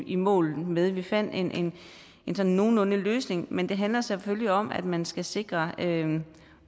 i mål med vi fandt en en sådan nogenlunde løsning men det handler selvfølgelig om at man skal sikre en